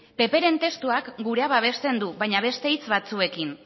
ppren testuak gurea babesten du baina beste hitz batzuekin